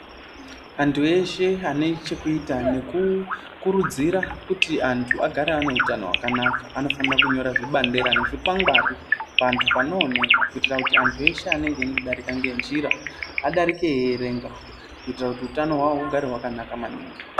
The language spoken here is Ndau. Antu eshe ane chekuita nekukurudzira kuti antu agare ane utano hwakanaka, anofanira kunyorwa zvibandela nezviwangari ,pantu panooneka, kuitira kuti antu eshe anenge eindodarika ngenjira, adarike eierenga, kuitira kuti utano hwavo hugare hwakanaka maningi.